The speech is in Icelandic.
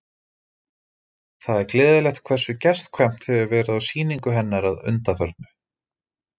Það er gleðilegt hversu gestkvæmt hefur verið á sýningu hennar að undanförnu.